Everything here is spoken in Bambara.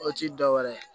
O ti dɔwɛrɛ ye